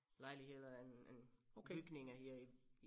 Lejligheder en en bygninger her i